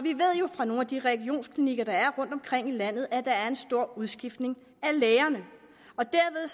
fra nogle af de regionsklinikker der er rundtomkring i landet at der er en stor udskiftning af lægerne og derved